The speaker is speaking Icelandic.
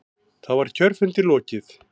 Þá var kjörfundi lokið.